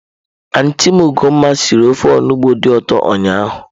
Antị m Ogoma sịrị ofe onugbu dị ụtọ ụnyahụ.